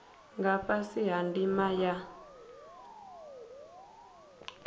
nga fhasi ha ndima ya